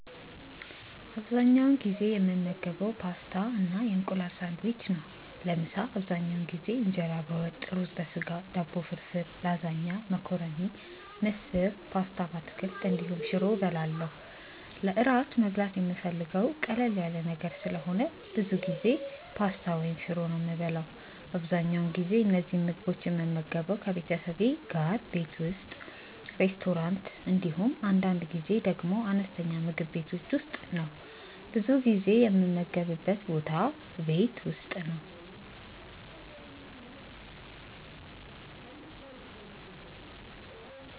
አብዛኛውን ጊዜ የምመገበው ፓስታ እና የእንቁላል ሳንድዊች ነው። ለምሳ አብዛኛውን ጊዜ እንጀራ በወጥ፣ ሩዝ በስጋ፣ ዳቦ ፍርፍር፣ ላዛኛ፣ መኮረኒ፣ ምስር፣ ፓስታ በአትክልት እንዲሁም ሽሮ እበላለሁ። ለእራት መብላት የምፈልገው ቀለል ያለ ነገር ስለሆነ ብዙ ጊዜ ፓስታ ወይም ሽሮ ነው የምበላው። አብዛኛውን ጊዜ እነዚህን ምግቦች የምመገበው ከቤተሰቤ ጋር ቤት ውስጥ፣ ሬስቶራንት እንዲሁም አንዳንድ ጊዜ ደግሞ አነስተኛ ምግብ ቤቶች ውስጥ ነው። ብዙ ጊዜ የምመገብበት ቦታ ቤት ውስጥ ነው።